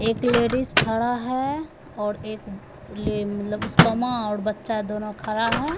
एक लेडीज खड़ा है और एक मतलब उसका माँ और बच्चा दोनों खड़ा है।